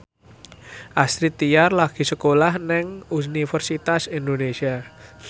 Astrid Tiar lagi sekolah nang Universitas Indonesia